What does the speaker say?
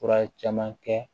Fura caman kɛ